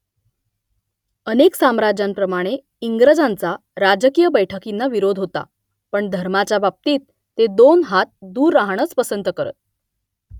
अनेक साम्राज्यांप्रमाणे इंग्रजांचा राजकीय बैठकींना विरोध होता पण धर्माच्या बाबतीत ते दोन हात दूर राहणंच पसंत करत